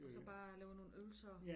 Og så bare lave nogle øvelser